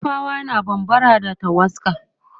nupawa na bambara da tawaska